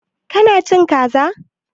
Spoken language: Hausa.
Ƙina cin Ƙaza?